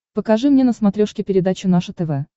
покажи мне на смотрешке передачу наше тв